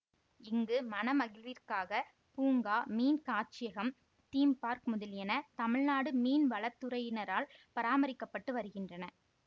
இங்கு மனமகிழ்விற்காக பூங்காமீன் காட்சியகம் theme park முதலியன தமிழ்நாடு மீன்வளத்துறையினரால் பராமரிக்க பட்டு வருகின்றன